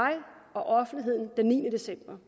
og offentligheden den niende december